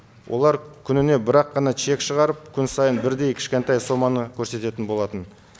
олар күніне бір ақ қана чек шығарып күн сайын бірдей кішкентай соманы көрсететін болатын